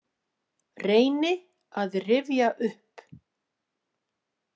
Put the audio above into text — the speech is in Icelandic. Reyni að rifja upp.